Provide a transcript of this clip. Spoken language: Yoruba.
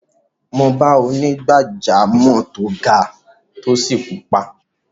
Mo bá onígbàjámọ̀ tó ga, tó sì pupa.